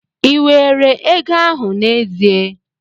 Ị were ego ahụ n'ezie?